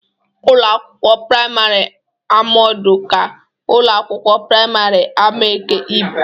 Ụlọ akwụkwọ praịmarị Amodu ka ụlọ akwụkwọ praịmarị Amaeke ibu.